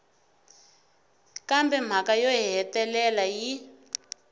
kambe mhaka yo hetelela yi